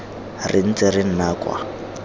re ntse re nna kwa